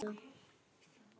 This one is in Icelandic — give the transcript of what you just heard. Ó: Ertu að skeina núna?